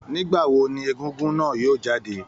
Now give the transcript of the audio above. Nígbà wo ní egugun náà yóò jáde?